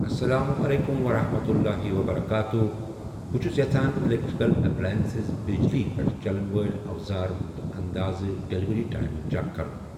اسلام علیکم ورحمۃ اللہ وبرکاتہ بہٕ چھُس یژھان اِلیکٹریکل ایپلینسِز بِجلی پیٚٹھ چَلن وٲلۍ اَوازار ہُنٛد انٛدازَن ڈیلیوری ٹایم چٮ۪ک کرُن۔